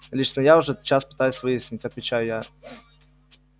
лично я это уже час пытаюсь выяснить отвечаю я